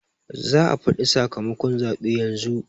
za a faɗi sakamakon zaɓe yanzu